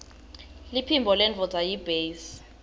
liphimbo lendvodza yiytbase